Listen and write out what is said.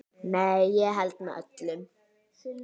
Nei, ég held með öllum.